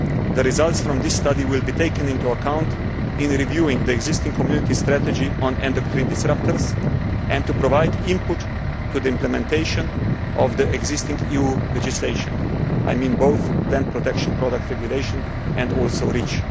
The results from this study will be taken into account in reviewing the existing Community strategy on endocrine disruptors and to provide input to the implementation of the existing EU legislation, by which I mean both the Plant Protection Products Regulation and also REACH.